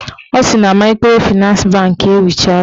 Ọ sị na maịkrofịnans bankị ewuchala